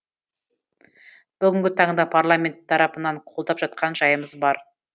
бүгінгі таңда парламент тарапынан қолдап жатқан жайымыз бар